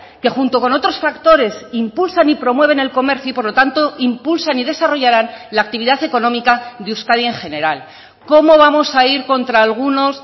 que junto con otros factores impulsan y promueven el comercio y por lo tanto impulsan y desarrollarán la actividad económica de euskadi en general cómo vamos a ir contra algunos